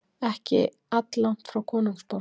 ekki alllangt frá konungsborg